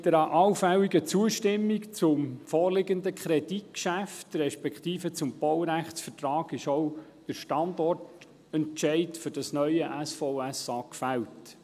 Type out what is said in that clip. Mit einer allfälligen Zustimmung zum vorliegenden Kreditgeschäft respektive zum Baurechtsvertrag ist auch der Standortentscheid für das neue SVSA gefällt.